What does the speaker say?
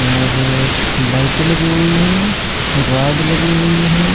और लाइट लगी हुई है राड लगी हुई है।